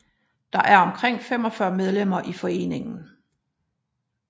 Der er omkring 45 medlemmer i foreningen